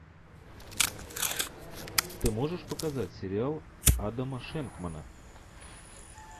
ты можешь показать сериал адама шенкмана